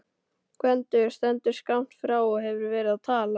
Gvendur stendur skammt frá og hefur verið að tala.